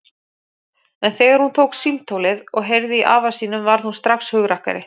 En þegar hún tók símtólið og heyrði í afa sínum varð hún strax hugrakkari.